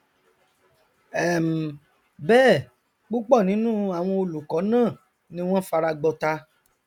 um bẹẹ púpọ nínú àwọn olùkọ náà ni wọn fara gbọta